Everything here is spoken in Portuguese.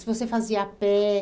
Se você fazia a pé?